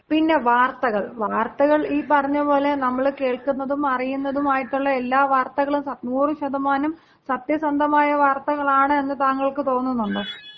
പിന്നെ വാർത്തകൾ വാർത്തകൾ, ഈ പറഞ്ഞപോലെ നമ്മള് കേൾക്കുന്നതും അറിയുന്നതും ആയിട്ടുള്ള എല്ലാ വാർത്തകളും 100% സത്യസന്ധമായ വാർത്തകൾ ആണ് എന്ന് താങ്കൾക്ക് തോന്നുന്നുണ്ടോ